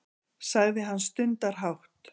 sagði hann stundarhátt.